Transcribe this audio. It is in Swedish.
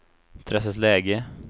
Träslövsläge